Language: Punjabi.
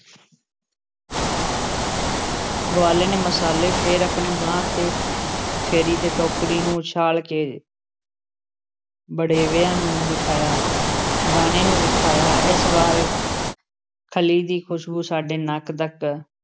ਗਵਾਲੇ ਨੇ ਮਸਾਲੇ ਵਿੱਚ ਫੇਰ ਆਪਣੀ ਬਾਂਹ ਤੇ ਫੇਰੀ ਤੇ ਟੋਕਰੀ ਨੂੰ ਉਛਾਲ਼ ਕੇ ਵੜੇਵਿਆਂ ਨੂੰ ਵਿਖਾਇਆ, ਦਾਣੇ ਨੂੰ ਵਿਖਾਇਆ । ਇਸ ਵਾਰ ਖਲ਼ੀ ਦੀ ਖ਼ੁਸ਼ਬੂ ਸਾਡੇ ਨੱਕ ਤੱਕ